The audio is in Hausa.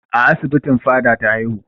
A asibitin Fada ta haihu.